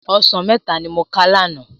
Òsán mètá ni mó ká làná